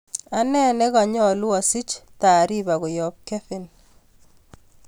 Ane neganyolu asich taripa koyob Kevin